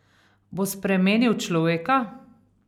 Bo spremenil človeka?